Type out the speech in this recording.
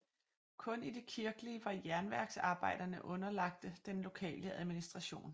Kun i det kirkelige var jernværksarbejderne underlagte den lokale administration